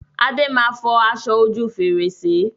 Adé máa fọ aṣọ ojú fèrèsé